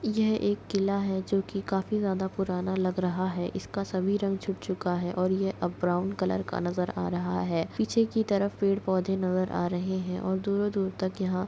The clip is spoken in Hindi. यह एक किला है जो की काफी ज्यादा पुराना लग रहा हैं इसका सभी रंग छूट चुका हैं और अब ये ब्राउन कलर का नजर आ रहा हैं पीछे की तरफ पेड़ पौधे नजर आ रहैं हैं और दूर-दूर तक यहाँ--